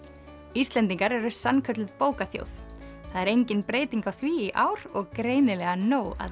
Íslendingar eru sannkölluð bókaþjóð það er engin breyting á því í ár og greinilega nóg að